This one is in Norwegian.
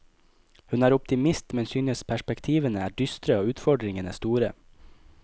Hun er optimist, men synes perspektivene er dystre og utfordringene store.